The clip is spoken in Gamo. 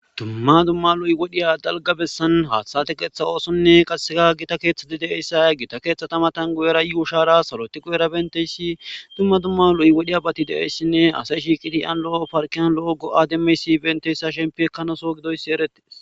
Dumma dumma lo7y wodhiya dalga bessan haathaa qeeththa oosonne qasseka gita keeththati de7eyssa gita keeththatamatan guyera yuu shara saloti qu7era benteyssi dumma dumma lo7yi wodhiya bati de7eyssinne asa ishi qitiyan lo7o parkiyan lo7ogo demeysi benteyssa shempi ekkanaso gidoyssi eretes.